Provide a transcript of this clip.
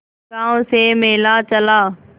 गांव से मेला चला